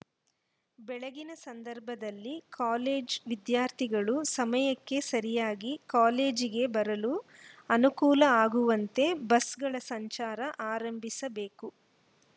ಬೆಳಗಿನ ಸಂದರ್ಭದಲ್ಲಿ ಕಾಲೇಜ್ ವಿದ್ಯಾರ್ಥಿಗಳು ಸಮಯಕ್ಕ ಸರಿಯಾಗಿ ಕಾಲೇಜಿಗೆ ಬರಲು ಅನುಕೂಲ ಆಗುವಂತೆ ಬಸ್‌ಗಳ ಸಂಚಾರ ಆರಂಭಿಸಬೇಕು